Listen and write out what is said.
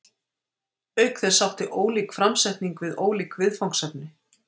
Auk þess átti ólík framsetning við ólík viðfangsefni.